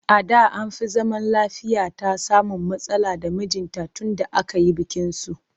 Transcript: A da an fi zaman lafiyata samun matsala da mijinta tunda aka yi bikinsu